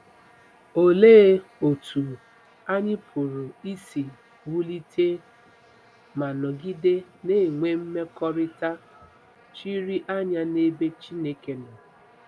Olee otú anyị pụrụ isi wulite ma nọgide na-enwe mmekọrịta chiri anya n’ebe Chineke nọ?